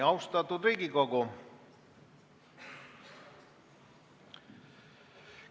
Austatud Riigikogu!